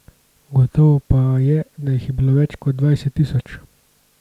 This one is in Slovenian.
Gotovo pa je, da jih je bilo več kot dvajset tisoč.